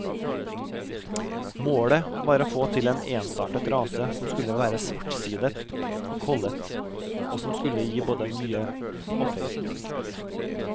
Målet var å få til en ensartet rase som skulle være svartsidet og kollet, og som skulle gi både mye og feit mjølk.